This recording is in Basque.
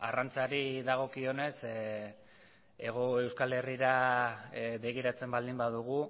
arrantzari dagokionez hego euskal herrira begiratzen baldin badugu